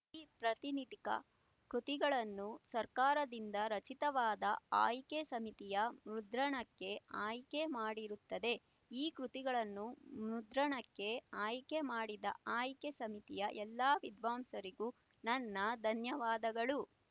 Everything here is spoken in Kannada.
ಈ ಪ್ರಾತಿನಿಧಿಕ ಕೃತಿಗಳನ್ನು ಸರ್ಕಾರದಿಂದ ರಚಿತವಾದ ಆಯ್ಕೆ ಸಮಿತಿಯು ಮುದ್ರಣಕ್ಕೆ ಆಯ್ಕೆ ಮಾಡಿರುತ್ತದೆ ಈ ಕೃತಿಗಳನ್ನು ಮುದ್ರಣಕ್ಕೆ ಆಯ್ಕೆ ಮಾಡಿದ ಆಯ್ಕೆ ಸಮಿತಿಯ ಎಲ್ಲಾ ವಿದ್ವಾಂಸರಿಗೂ ನನ್ನ ಧನ್ಯವಾದಗಳು